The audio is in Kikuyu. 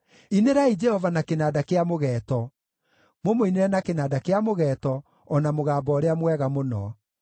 inĩrai Jehova na kĩnanda kĩa mũgeeto, mũmũinĩre na kĩnanda kĩa mũgeeto o na mũgambo ũrĩa mwega mũno,